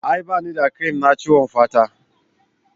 A'a ba ni da cream na ciwon fata